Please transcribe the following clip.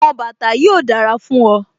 Àwọn bàtà yìí ò dára fún ọ